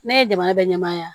Ne ye jamana bɛ ɲɛmaya yan